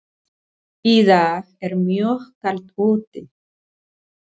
Í dag er mjög kalt úti.